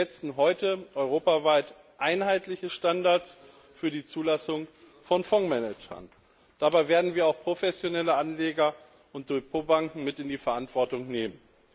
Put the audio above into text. Wir setzen heute europaweit einheitliche Standards für die Zulassung von Fondsmanagern. Dabei werden wir auch professionelle Anleger und Depotbanken mit in die Verantwortung nehmen.